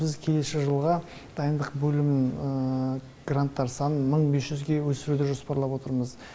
біз келесі жылға дайындық бөлімінің гранттар санын мың бес жүзге өсіруді жоспарлап отырмыз